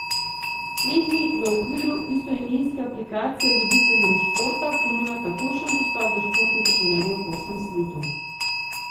Slednji v okviru istoimenske aplikacije ljubiteljem športa ponuja takojšen dostop do športnih trenerjev po vsem svetu.